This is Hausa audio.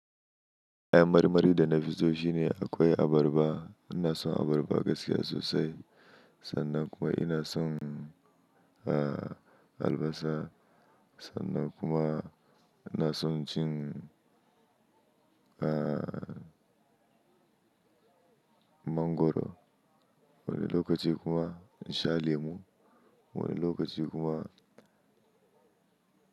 Kayan marmari da nafi so shine akwai abarba, ina son abarba gaskiya sosai sannan kuma ina son, ah, albasa sannan kuma ina son cin, ah, mangoro. Wani lokaci kuma in sha lemu, wani lokaci kuma.